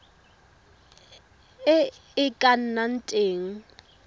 e e ka nnang teng